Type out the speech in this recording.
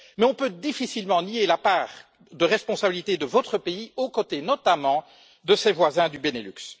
Mais on peut difficilement nier la part de responsabilité de votre pays, aux côtés notamment de ses voisins du Benelux.